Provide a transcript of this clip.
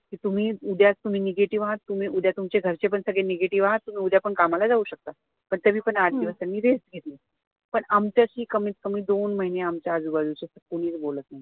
कि तुम्ही उद्या तुम्ही negative आहात उद्या तुमचे घरचे पण सगळे negative आहात तुम्ही उद्या पण कामाला जाऊ शकता पण तरी पण आठ दिवस त्यांनी rest घेतला पण आमच्याशी कमीतकमी दोन महिने आमच्या आजूबाजूचे तर कोणीच बोलत नव्हते